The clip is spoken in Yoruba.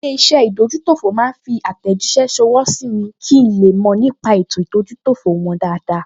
Ilé-iṣẹ́ ìdójútòfò máa fi àtẹ̀jíṣẹ́ ṣọwọ́ sí mi kí n le mọ̀ nípa ètò ìdójútòfò wọn dáadáa